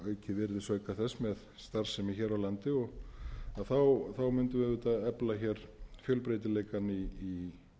virðisauka þess með starfsemi hér á landi mundum við auðvitað efla hér fjölbreytileikann í